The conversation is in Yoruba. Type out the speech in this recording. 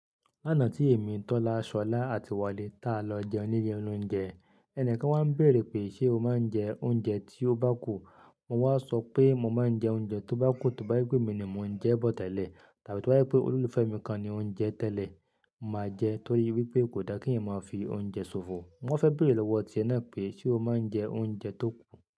Lánàá tí èmi, Tọ́lá, Ṣọlá àti Wálé ta lọ jẹun ní ilé oloúnjẹ, ẹni kan wá bèèrè pé ṣe o máa ń jẹ oúnjẹ tí ó bá kù? Mo wá sọ pé mo máa ń jẹ oúnjẹ tó bá kù, tó bá wípé mi ni mò ń jẹ bọ̀ tẹ́lẹ̀ tàbí tó bá wípé olólùfẹ́ mi kan ni òun ń jẹ tẹ́lẹ̀, mo máa jẹ torí wípé kò dá kí èmi máa fi oúnjẹ so fò. Wón fẹ́ bèrè lọ́wọ́ ọtí ẹnà pé ṣe o máa ń jẹ oúnjẹ tó kù?